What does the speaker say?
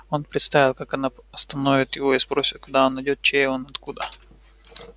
он представил как она остановит его и спросит куда он идёт чей он откуда